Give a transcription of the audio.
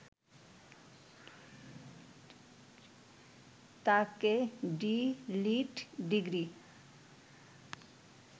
তাঁকে D Litt degree